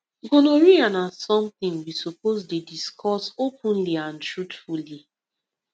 gonorrhea na something we suppose dey discuss openly and truthfully